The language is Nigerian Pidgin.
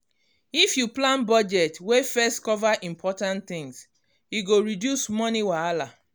if you plan budget wey first cover important things e go reduce money wahala.